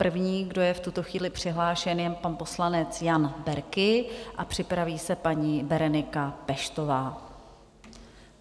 První, kdo je v tuto chvíli přihlášen, je pan poslanec Jan Berki a připraví se paní Berenika Peštová.